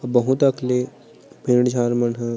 बहुत अकन ले पेड़ झाड़ मन ह--